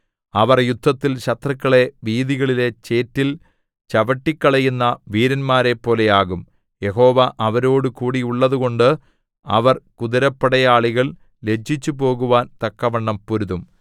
അവർ യുദ്ധത്തിൽ ശത്രുക്കളെ വീഥികളിലെ ചേറ്റിൽ ചവിട്ടിക്കളയുന്ന വീരന്മാരെപ്പോലെയാകും യഹോവ അവരോടുകൂടിയുള്ളതുകൊണ്ട് അവർ കുതിരപ്പടയാളികൾ ലജ്ജിച്ചുപോകുവാൻ തക്കവണ്ണം പൊരുതും